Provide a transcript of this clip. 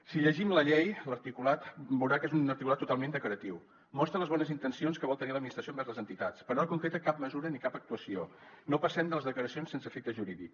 si llegim la llei l’articulat veurà que és un articulat totalment declaratiu mostra les bones intencions que vol tenir l’administració envers les entitats però no concreta cap mesura ni cap actuació no passem de les declaracions sense efecte jurídic